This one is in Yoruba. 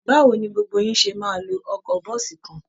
Báwo ni gbogbo yín ṣe máa lo ọkọ̀ bọ́ọ̀sì kan?